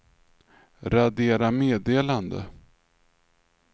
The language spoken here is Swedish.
radera meddelande